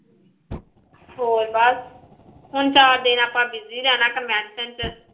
ਹੋਰ ਬਸ ਹੁਣ ਚਾਰ ਦਿਨ ਆਪਾਂ busy ਰਹਿਣਾ ਚ